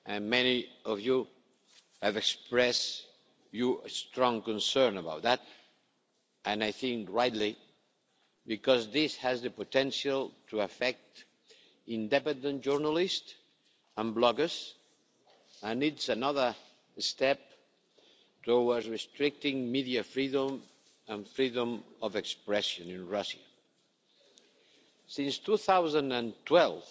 Many of you have expressed your strong concern about that and, I think, rightly, because this has the potential to affect independent journalists and bloggers and is another step towards restricting media freedom and freedom of expression in Russia. Since 2012,